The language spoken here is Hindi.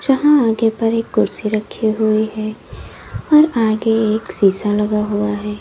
यहां आगे पर एक कुर्सी रखी हुई है और आगे एक शीशा लगा हुआ है।